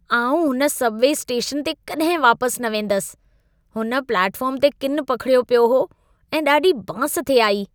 आउं हुन subway station ते कॾहिं वापसि न वेंदसि। हुन प्लेटफ़ार्म ते किनु पखिड़ियो पियो हो ऐं ॾाढी बांस थे आई।